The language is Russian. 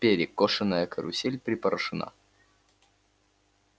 перекошенная карусель припорошена